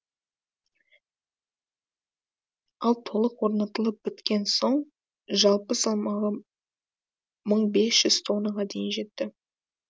ал толық орнатылып біткен соң жалпы салмағы мың бес жүз тоннаға дейін жетті